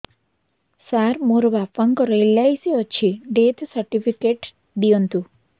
ସାର ମୋର ବାପା ଙ୍କର ଏଲ.ଆଇ.ସି ଅଛି ଡେଥ ସର୍ଟିଫିକେଟ ଦିଅନ୍ତୁ